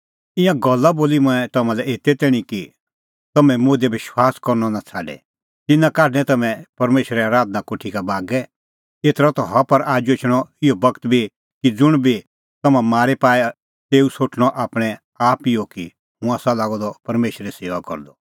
तिन्नां काढणैं तम्हैं परमेशरे आराधना कोठी का बागै एतरअ ता हुअ पर आजू एछणअ इहअ बगत बी कि ज़ुंण बी तम्हां मारी पाए तेऊ सोठणअ आपणैं आप इहअ कि हुंह आसा लागअ द परमेशरे सेऊआ करदअ